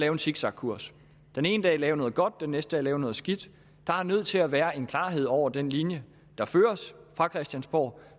en zigzagkurs den ene dag lave noget godt den næste dag lave noget skidt der er nødt til at være en klarhed over den linje der føres fra christiansborg